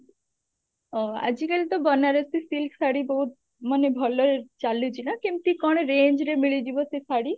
ଅ ଆଜିକାଲି ତ ବନାରସୀ silk ଶାଢୀ ବହୁତ ମାନେ ଭଲ ଚାଲୁଛି ନା କେମତି କଣ range ରେ ମିଳିଯିବ ସେ ଶାଢୀ?